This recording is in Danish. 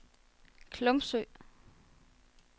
Glumsø